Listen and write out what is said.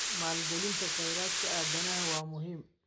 Maalgelinta kheyraadka aadanaha waa muhiim.